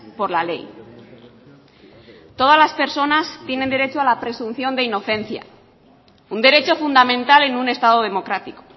por la ley todas las personas tienen derecho a la presunción de inocencia un derecho fundamental en un estado democrático